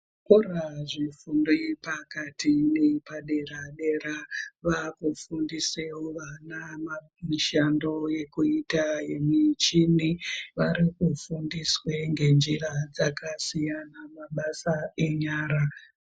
Zvikora zvefundo yepakati neyepadera dera vakufundisewo vana mishando yekuita yemichini varikufundiswe ngenjira dzakasiyana mabasa enyara.